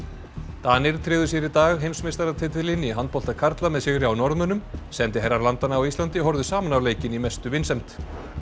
Danir tryggðu sér í dag heimsmeistaratitilinn í handbolta karla með sigri á Norðmönnum sendiherrar landanna á Íslandi horfðu saman á leikinn í mestu vinsemd